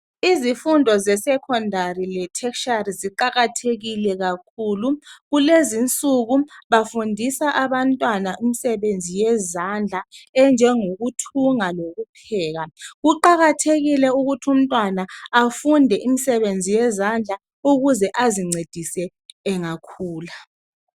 Izifundo ze Secondary le tertiary ziqakathekile kakhulu. Kulezinsuku bafundisa abantwana imisebenzi yezandla enjengokuthunga lokupheka. Kuqakathekile ukuthi umntwana afunde imisebenzi yezandla ukuze azincedise engakhula.